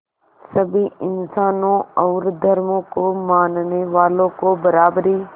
सभी इंसानों और धर्मों को मानने वालों को बराबरी